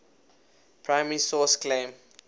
primary source claim